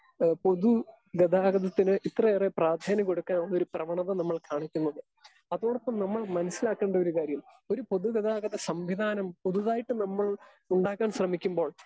Speaker 2 ഏഹ് പൊതുഗതാഗതത്തിന് ഇത്രയേറെ പ്രാധാന്യം കൊടുക്കാൻ ഒരു പ്രവണത നമ്മൾ കാണിക്കുന്നത്. അതോടൊപ്പം നമ്മൾ മനസ്സിലാക്കേണ്ട ഒരു കാര്യം ഒരു പൊതുഗതാഗത സംവിധാനം പുതുതായിട്ട് നമ്മൾ ഉണ്ടാക്കാൻ ശ്രമിക്കുമ്പോൾ